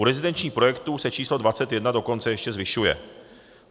U rezidenčních projektů se číslo 21 dokonce ještě zvyšuje.